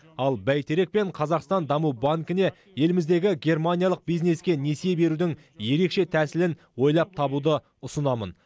ал бәйтерек пен қазақстан даму банкіне еліміздегі германиялық бизнеске несие берудің ерекше тәсілін ойлап табуды ұсынамын